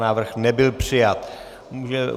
Návrh nebyl přijat.